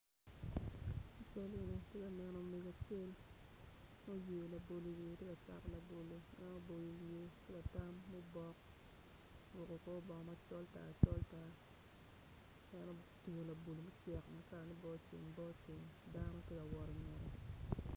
I cal eni atye ka neno mego acel ma oyeyo labolo i wiye tye ka cato labolo ma oboyo wiye ki latm mubok oruku kor bongo macol tar col tar en otingo labolo mucek ma kalane boceng boceng dano tye ka wot ingette